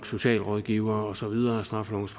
socialrådgivere og så videre straffelovens